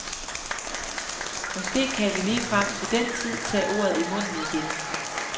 Måske kan vi ligefrem til den tid tage ordet i munden igen.